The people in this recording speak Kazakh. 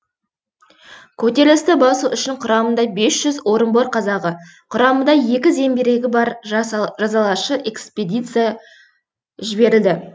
көтерілісті басу үшін құрамында бес жүз орынбор казагы құрамында екі зеңбірегі бар жазалашы экспедиция жіберілді